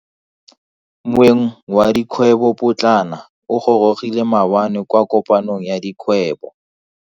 Moeng wa dikgwebo potlana o gorogile maabane kwa kopanong ya dikgwebo.